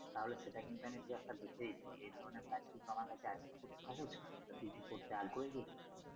তাহলে সেটা কিন্তু আমি তোকে একটা দেখে দিতে পারব এধরনের কাজ কিন্তু আমার হাতে আছে খুব সহজ কাজ তা তুই কি করতে আগ্রহী।